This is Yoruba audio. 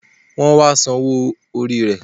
Wọn wá san owó orí rẹ